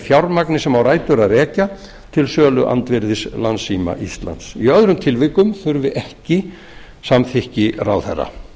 fjármagni sem á rætur að rekja til söluandvirðis landssíma íslands í öðrum tilvikum þurfi ekki samþykki ráðherra